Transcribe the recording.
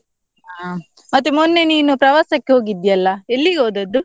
ಹ, ಮತ್ತೆ ಮೊನ್ನೆ ನೀನು ಪ್ರವಾಸಕ್ಕೆ ಹೋಗಿದ್ಯಲ್ಲ ಎಲ್ಲಿಗೆ ಹೋದದ್ದು?